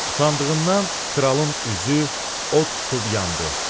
Utandığından kralın üzü od tutub yandı.